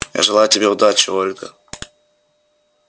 я желаю тебе удачи ольга